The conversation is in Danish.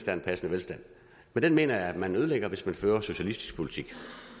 er en passende velstand men den mener jeg at man ødelægger hvis man fører socialistisk politik